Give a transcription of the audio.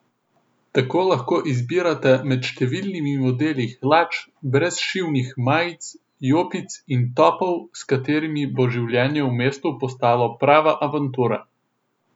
Tako lahko izbirate med številnimi modeli hlač, brezšivnih majic, jopic in topov, s katerimi bo življenje v mestu postalo prava avantura.